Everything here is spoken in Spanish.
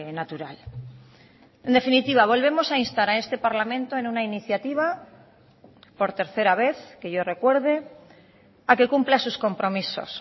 natural en definitiva volvemos a instar a este parlamento en una iniciativa por tercera vez que yo recuerde a que cumpla sus compromisos